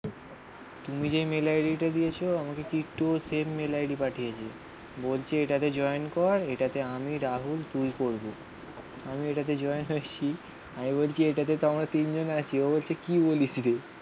তুমি যে mail ID টা দিয়েছো আমাকে টিটুও সেম মেল ID পাঠিয়েছে. বলছে এটাতে জয়েন কর. এটাতে আমি রাহুল তুই করবো. আমি এটাতে জয়েন আসছি. আমি বলছি এটাতে তো আমরা তিনজন আছি. ও বলছে কি বলিস রে